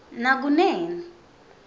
nakunene